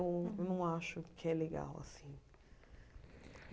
Eu não acho que é legal, assim.